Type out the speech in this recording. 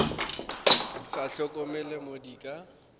sa hlokomele mo di ka